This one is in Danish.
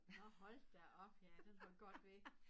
Nå hold da op ja den var godt ved